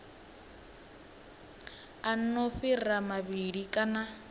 a no fhira mavhili kana